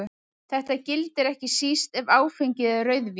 Þetta gildir ekki síst ef áfengið er rauðvín.